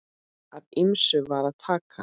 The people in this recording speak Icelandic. Af ýmsu var að taka.